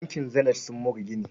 Bankin Zenith sun more gini.